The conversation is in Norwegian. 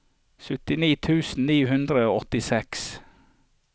syttini tusen ni hundre og åttiseks